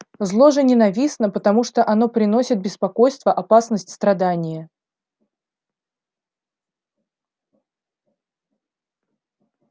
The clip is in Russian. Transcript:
зло же ненавистно потому что оно приносит беспокойство опасность страдание